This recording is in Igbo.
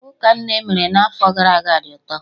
Ụka nne emere n'afọ gara aga dị ụtọ